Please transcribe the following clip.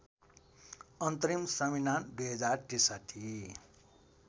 अन्तरिम संविधान २०६३